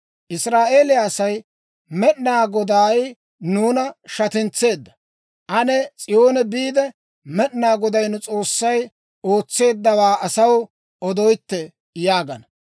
Israa'eeliyaa asay, «Med'inaa Goday nuuna shatintseedda! Ane S'iyoone biide, Med'inaa Goday nu S'oossay ootseeddawaa asaw odoytte!» yaagana.